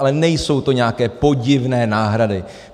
Ale nejsou to nějaké podivné náhrady!